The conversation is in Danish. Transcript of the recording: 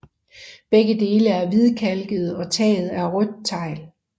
Begge dele er hvidkalkede og taget er rødt tegl